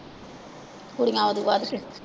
ਕੁੜੀਆਂ ਉਹ ਤੋਂ ਵੱਧ ਕੇ